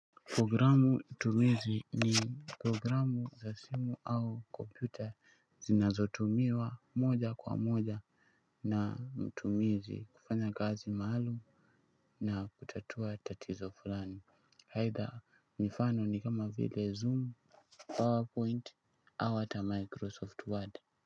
Programu tumizi ni programu za simu au kompyuta zinazotumiwa moja kwa moja na mtumizi kufanya akzi maalum na kutatua tatizo fulani aitha mifano ni kama vile zoom powerpoint au hata microsoft word.